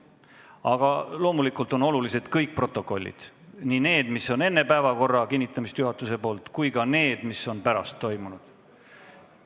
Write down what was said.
Aga loomulikult on olulised kõik protokollid, nii need, mis on koostatud enne, kui juhatus on päevakorra kinnitanud, kui ka need, mis on koostatud pärast seda.